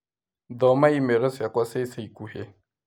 Thoma i-mīrū ciakwa cia ica ikuhĩ